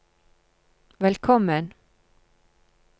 velkommen